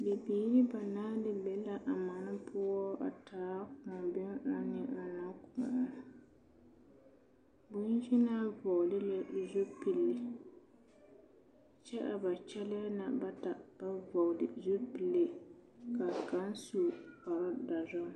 Bibiiri banaare be la a mane poɔ a taa ŋman ɔnnɔ ne kóɔ bonyenaa vɔgelɛɛ o zupile kyɛ a ba kyɛlɛɛ na bata ba vɔgele zupile ka kaŋ su kpar dɔre